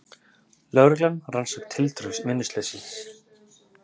Lögreglan rannsakar tildrög vinnuslyssins